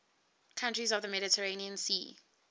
countries of the mediterranean sea